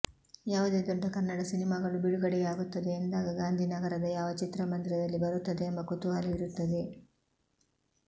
ಯಾವುದೇ ದೊಡ್ಡ ಕನ್ನಡ ಸಿನಿಮಾಗಳು ಬಿಡುಗಡೆಯಾಗುತ್ತದೆ ಎಂದಾಗ ಗಾಂಧಿನಗರದ ಯಾವ ಚಿತ್ರಮಂದಿರದಲ್ಲಿ ಬರುತ್ತದೆ ಎಂಬ ಕುತೂಹಲ ಇರುತ್ತದೆ